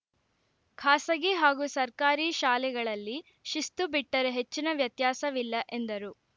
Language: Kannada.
ಖಾಸಗಿ ಹಾಗೂ ಸರ್ಕಾರಿ ಶಾಲೆಗಳಲ್ಲಿ ಶಿಸ್ತು ಬಿಟ್ಟರೆ ಹೆಚ್ಚಿನ ವ್ಯತ್ಯಾಸವಿಲ್ಲ ಎಂದರು